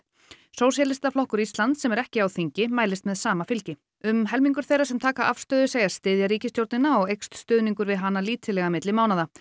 sósíalistaflokkur Íslands sem er ekki á þingi mælist með sama fylgi um helmingur þeirra sem taka afstöðu segist styðja ríkisstjórnina og eykst stuðningur við hana lítillega milli mánaða